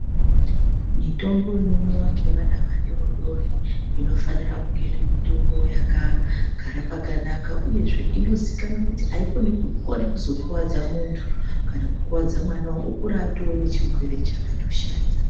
Mitombo inomwiwa ngevana vadidori inofanire kungeiri mutombo yakagara pakanaka uyezve inozikamnwa kuti aikoni kuzokuwadza muntu kana kukuwadza mwana okura tave ane chirwere chakatoshata.